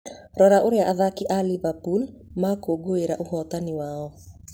Rora ũrĩa athaki a liverpool makũngũĩire ũhotani wao